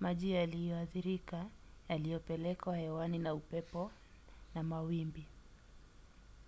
maji yaliyoathirika yaliyopelekwa hewani na upepo na mawimbi